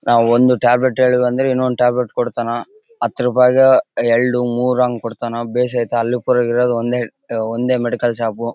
ಆ ಒಂದು ಟ್ಯಾಬ್ಲೆಟ್ ಇನೊಂದು ಟ್ಯಾಬ್ಲೆಟ್ ಕೊಡತ್ತನ್ ಹತ್ತು ರೂಪಾಯಗೆ ಎರಡು ಮೂರಂಗೆ ಕೊಡತ್ತನ್ ಬೇಸ್ ತಾಲೂಕ್ ಇರೋದ್ ಒಂದೇ ಒಂದೇ ಮೆಡಿಕಲ್ ಶಾಪ್ .